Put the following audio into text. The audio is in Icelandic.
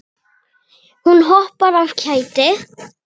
Hún hoppar af kæti.